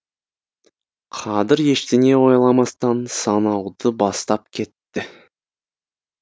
қадір ештеңе ойламастан санауды бастап кетті